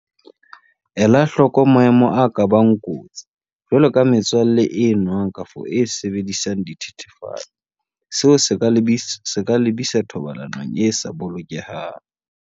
Ela hloko maemo a ka bang kotsi, jwaloka metswalle e nwang kapa e sebedisang dithethefatsi, seo se ka lebisa thobalanong e sa bolokehang.